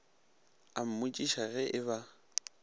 a mmotšiša ge e ba